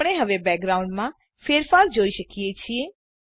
આપણે હવે બેકગ્રાઉન્ડમાં ફેરફાર જોઈ શકીએ છીએ